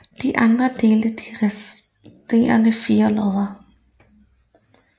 De andre delte de resterende fire lodder